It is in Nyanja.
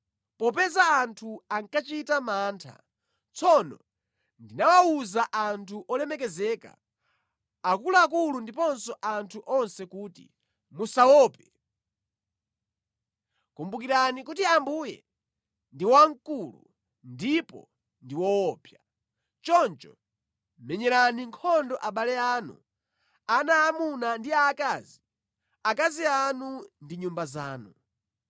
Popeza anthu ankachita mantha, tsono ndinawawuza anthu olemekezeka, akuluakulu ndiponso anthu onse kuti, “Musawaope. Kumbukirani kuti Ambuye ndi wamkulu ndipo ndi woopsa. Choncho menyerani nkhondo abale anu, ana aamuna ndi aakazi, akazi anu ndi nyumba zanu.”